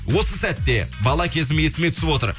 осы сәтте бала кезім есіме түсіп отыр